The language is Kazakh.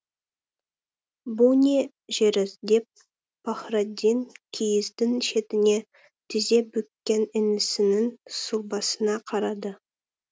бұл не жүріс деп пахраддин киіздің шетіне тізебүккен інісінің сұлбасына қарады